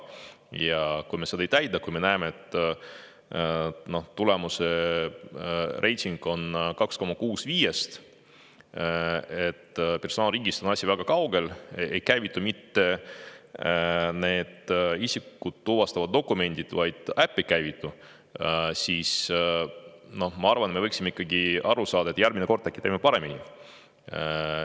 Ja kui me seda ei täida, vaid näeme, et reiting on 2,6 5-st ja personaalriigist on asi väga kaugel – ei käivitu mitte need isikut tuvastavad dokumendid, vaid äpp ei käivitu –, siis ma arvan, et me võiksime ikkagi, kuidas järgmine kord äkki paremini teha.